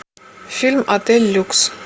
фильм отель люкс